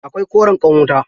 Akwai koren ƙwan wuta.